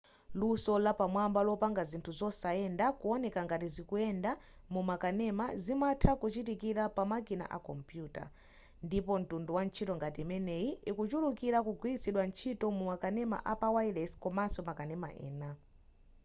luso lapamwamba lopanga zinthu zosayenda kuoneka ngati zikuyenda mumakanema zimatha kuchitikira pamakina akompuyuta ndipo mtundu wa ntchito ngati imeneyi ikuchulukira kugwiritsidwa ntchito mumakanema apawayilesi komaso makanema ena